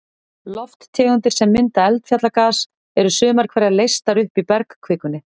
Lofttegundir sem mynda eldfjallagas, eru sumar hverjar leystar upp í bergkvikunni.